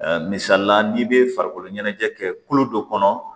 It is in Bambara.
misalila n'i bɛ farikolo ɲɛnajɛ kɛ kolo dɔ kɔnɔ